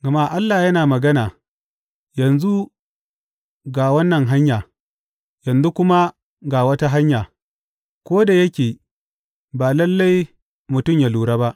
Gama Allah yana magana, yanzu ga wannan hanya, yanzu kuma ga wata hanya ko da yake ba lalle mutum yă lura ba.